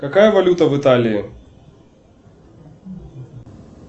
какая валюта в италии